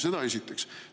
Seda esiteks.